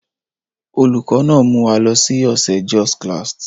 Olùkọ́ náà mú wa lọ sí ọ̀sẹ̀ Jos klast.